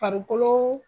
Farikolo